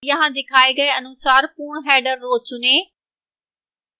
यहां दिखाए गए अनुसार पूर्ण header row चुनें